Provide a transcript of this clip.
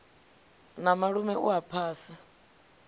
na malume u a phasa